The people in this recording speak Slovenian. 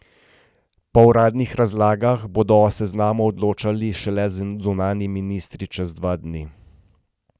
Po uradnih razlagah bodo o seznamu odločali šele zunanji ministri čez dva dni.